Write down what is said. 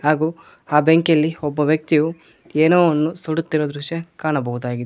ಹಾಗೂ ಆ ಬೆಂಕಿಯಲ್ಲಿ ಒಬ್ಬ ವ್ಯಕ್ತಿಯು ಏನೋವನ್ನು ಸುಡುತ್ತಿರುವ ದೃಶ್ಯ ಕಾಣಬಹುದಾಗಿದೆ.